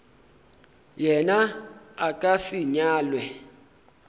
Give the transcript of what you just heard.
yena a ka se nyalwe